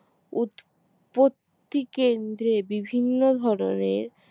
উৎপত্তি কেন্দ্রে বিভিন্ন ধরনের